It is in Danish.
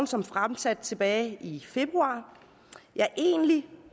som fremsat tilbage i februar ja egentlig